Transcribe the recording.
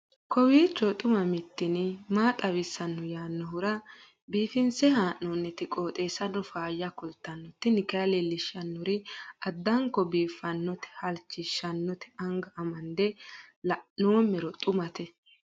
kowiicho xuma mtini maa xawissanno yaannohura biifinse haa'noonniti qooxeessano faayya kultanno tini kayi leellishshannori addanko biiffannote halchishshannote anga amande la'noommero xumate